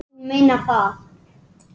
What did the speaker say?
Já, þú meinar það.